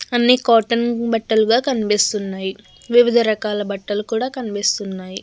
అన్ని కాటన్ బట్టల్ గా కనిపిస్తున్నాయి. వివిధ రకాల బట్టలు కూడ కనిపిస్తున్నాయి.